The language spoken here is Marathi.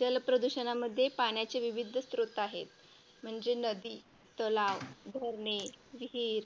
जलप्रदूषणामध्ये पाण्याचे विविध स्त्रोत आहेत. म्हणजे नदी, तलाव, धरणे, विहीर